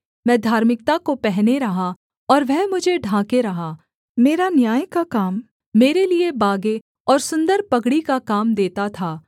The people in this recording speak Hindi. मैं धार्मिकता को पहने रहा और वह मुझे ढांके रहा मेरा न्याय का काम मेरे लिये बागे और सुन्दर पगड़ी का काम देता था